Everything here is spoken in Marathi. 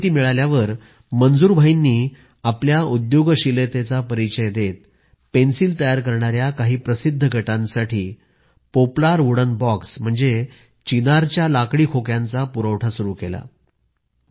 ही माहिती मिळाल्यावर मंजूर भाईंनी आपल्या उद्योगशीलतेचा परिचय देत पेन्सिल तयार करणाऱ्या काही प्रसिद्ध गटांसाठी पोपलार वुडन बॉक्स म्हणजे चिनारच्या लाकडी खोक्यांचा पुरवठा सुरू केला